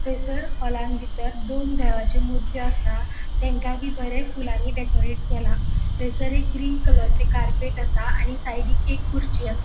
थंयसर हॉलान बितर दोन देवाची मूर्ती असा तांकाय बी बरे फुलांनी डेकॉरेट केला थंयसर एक ग्रीन कलरची कार्पेट असा आणि साइडिक एक खुर्ची असा.